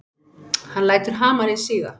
Hann lætur hamarinn síga.